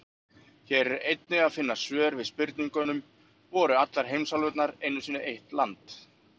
Hér er einnig að finna svar við spurningunum: Voru allar heimsálfurnar einu sinni eitt land?